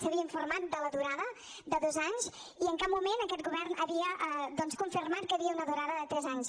s’havia informat de la durada de dos anys i en cap moment aquest govern havia doncs confirmat que hi havia una durada de tres anys